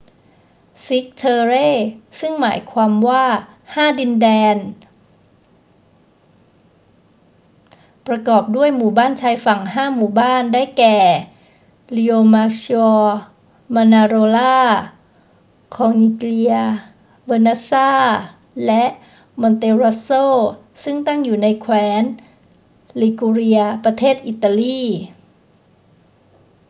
cinque terre ซึ่งหมายความว่าห้าดินแดน ประกอบด้วยหมู่บ้านชายฝั่งห้าหมู่บ้าน ได้แก่ riomaggiore manarola corniglia vernazza และ monterosso ซึ่งตั้งอยู่ในแคว้น liguria ประเทศอิตาลี